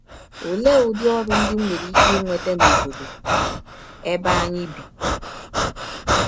Ọlee ụdị ọrụ ndị m nwere ike inweta n’ọbọdọ ebe anyị bi?